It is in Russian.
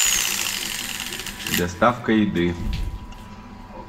доставка еды